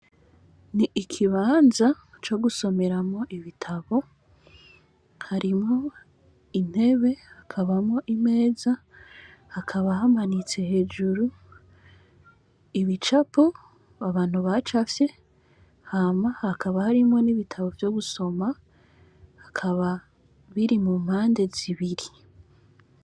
Ni ikibanza co gusomeramwo ibitabo, harimwo intebe hakabamwo imeza, hakaba hamanitse hejuru ibicapo abantu bacafye, hama hakaba harimwo ibitabo vyo gusoma hakaba biri mu mpande zibiri.